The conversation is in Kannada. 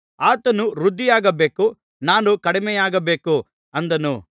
ಆತನು ವೃದ್ಧಿಯಾಗಬೇಕು ನಾನು ಕಡಿಮೆಯಾಗಬೇಕು ಅಂದನು